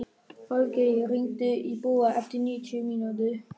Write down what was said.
Falgeir, hringdu í Búa eftir níutíu mínútur.